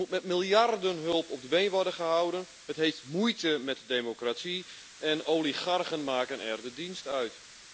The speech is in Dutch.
Het moet met miljarden aan hulp op de been worden gehouden, het heeft moeite met democratie en oligarchen maken er de dienst uit.